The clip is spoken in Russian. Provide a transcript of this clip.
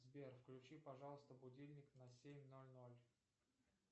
сбер включи пожалуйста будильник на семь ноль ноль